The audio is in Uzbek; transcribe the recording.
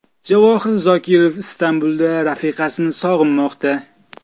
Javohir Zokirov Istanbulda rafiqasini sog‘inmoqda.